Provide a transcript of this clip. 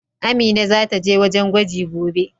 Amina zata je wajen gwaji gobe.